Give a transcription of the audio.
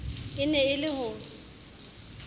e ne e le ho